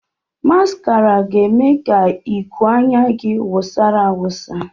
Maskara ga-eme ka iku anya gị wụsara awụsa